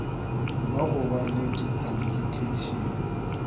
ba go ba le dikhwalifikheišene